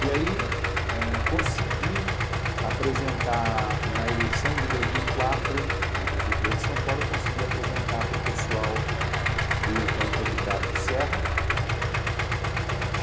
E aí, eh consegui apresentar na eleição de dois mil e quatro, na Prefeitura de São Paulo, eu consegui apresentar para o pessoal do então candidato Serra.